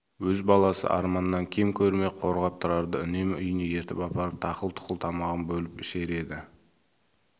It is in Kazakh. өз баласы арманнан кем көрмей қорған тұрарды үнемі үйіне ертіп апарып тақыл-тұқыл тамағын бөліп ішер еді